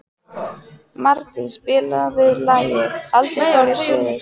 Mardís, spilaðu lagið „Aldrei fór ég suður“.